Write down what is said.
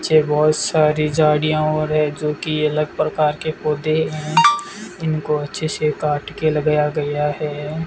पीछे बहोत सारी झाड़ियां और है जो की अलग प्रकार के पौधे हैं इनका अच्छे से काट के लगाया गया है।